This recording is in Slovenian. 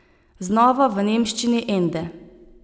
Znova, v nemščini Ende.